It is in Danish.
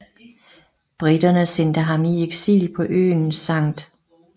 Briterne sendte ham i eksil på øen St